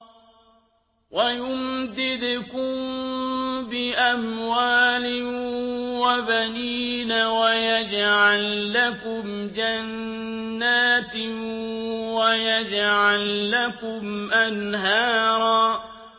وَيُمْدِدْكُم بِأَمْوَالٍ وَبَنِينَ وَيَجْعَل لَّكُمْ جَنَّاتٍ وَيَجْعَل لَّكُمْ أَنْهَارًا